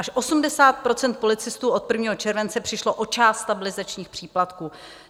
Až 80 % policistů od 1. července přišlo o část stabilizačních příplatků.